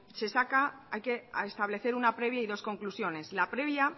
se saca que hay que establecer una previa y dos conclusiones la previa